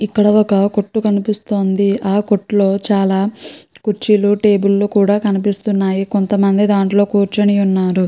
ఇక్కడ ఒక కొట్టు కనిపిస్తుంది. ఆ కొట్టు లో చాలా కుర్చీలు టేబుల్ కూడా కనిపిస్తున్నాయి. కొంతమంది కూర్చుని ఉన్నారు.